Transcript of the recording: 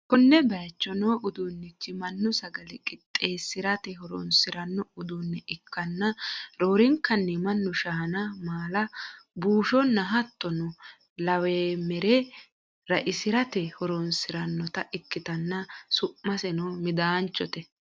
konne bayicho no uduunnichi mannu sagale qixxeessi'rate horonsi'ranno uduunne ikkanna, roorenkanni mannu shaana, maala, buushonna hattono laweemmere ra'isirate horonsi'rannota ikkitanna, su'maseno midaanchote.